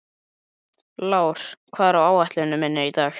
Lár, hvað er á áætluninni minni í dag?